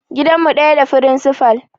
Gidan mu ɗaya da firincifal